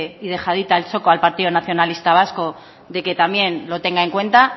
y dejadita al choco al partido nacionalista vasco de que también lo tenga en cuenta